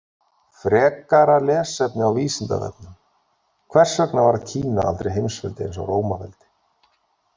Frekara lesefni á Vísindavefnum: Hvers vegna varð Kína aldrei heimsveldi eins og Rómaveldi?